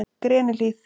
Grenihlíð